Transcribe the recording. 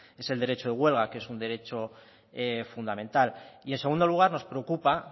es el derecho de huelga que es un derecho fundamental y en segundo lugar nos preocupa